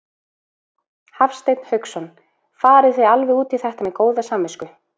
Hafsteinn Hauksson: Farið þið alveg út í þetta með góða samvisku?